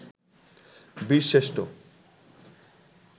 বীরশ্রেষ্ঠ